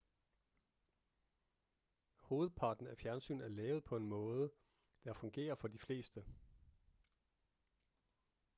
hovedparten af fjernsyn er lavet på en måde der fungerer for de fleste